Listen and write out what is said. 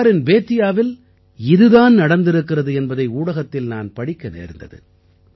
பிகாரின் பேதியாவில் இது தான் நடந்திருக்கிறது என்பதை ஊடகத்தில் நான் படிக்க நேர்ந்தது